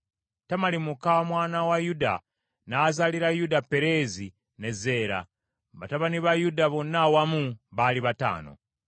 Tamali muka mwana wa Yuda, n’azaalira Yuda Pereezi, ne Zeera. Batabani ba Yuda bonna awamu baali bataano.